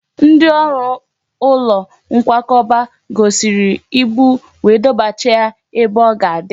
Ndị ọrụ ụlọ nkwakọba ghọsịrịrị ibu wee dọbachaa ya ebe o ga-adị